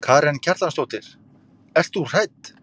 Karen Kjartansdóttir: Ert þú hrædd?